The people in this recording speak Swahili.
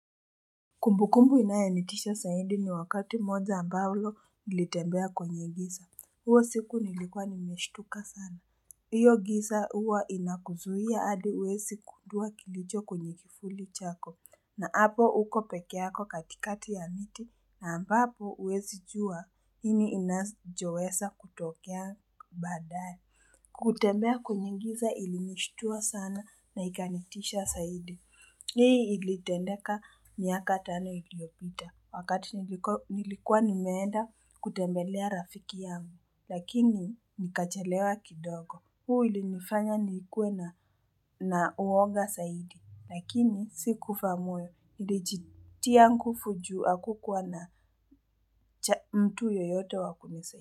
Kumbukumbu inayonitisha zaidi ni wakati moja ambalo nilitembea kwenye giza, hiyo siku nilikuwa nimeshtuka sana. Hiyo giza huwa inakuzuia adi huwezi gundua kilicho kwenye kifuli chako, na hapo uko pekee yako katikati ya miti, na ambapo huwezijuwa nini inachoweza kutokea baadae. Kutembea kwenye giza ilinishtua sana na ikanitisha zaidi. Hii ilitendeka miaka tano iliopita. Wakati nilikuwa nimeenda kutembelea rafiki yangu. Lakini nikachelewa kidogo. Huu ulinifanya niikuwe na uwoga zaidi. Lakini sikufa moyo. Nilijitia nguvu juu hakukuwa na mtu yoyote wa kunisaidia.